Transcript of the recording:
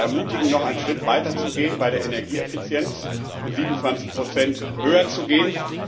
Ich möchte sie aber ermutigen, noch einen Schritt weiter zu gehen bei der Energieeffizienz, von 27 höher zu gehen.